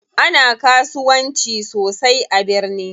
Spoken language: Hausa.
Ana kasuwanci sosai a birni.